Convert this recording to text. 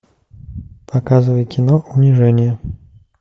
показывай кино унижение